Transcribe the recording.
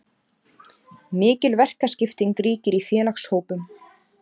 Mikil verkaskipting ríkir í félagshópnum.